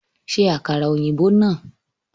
Ṣe àkàrà ọ̀yìnbó náà!